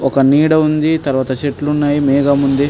ఒక నీడ ఉండి తర్వాత చెట్లు ఉన్నయ్ మేఘం ఉంది.